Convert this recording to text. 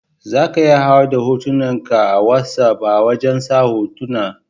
Za ka iya hau da hotunan ka a wassap a wajen sa hotuna.